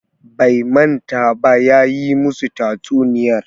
Bai manta ba, ya yi musu tatsuniyar